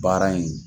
Baara in